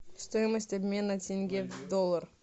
стоимость обмена тенге в доллар